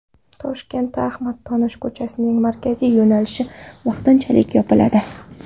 Toshkentda Ahmad Donish ko‘chasining markaziy yo‘nalishi vaqtinchalik yopiladi.